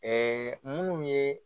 munnu ye